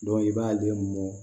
i b'ale mɔ